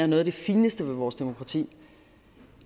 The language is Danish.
noget af det fineste ved vores demokrati